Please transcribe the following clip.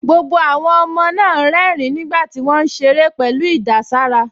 Gbogbo àwọn ọmọ náà ń rẹ́rìn-ín nígbà tí wọ́n ń ṣeré pẹ̀lú ìdàsára